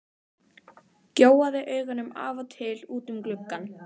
Gjóaði augunum af og til út um gluggann.